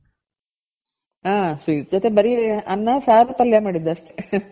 ಆ sweet ಜೊತೆ ಬರಿ ಅನ್ನ, ಸಾರು, ಪಲ್ಯ, ಮಾಡಿದ್ದ್ ಅಷ್ಟೆ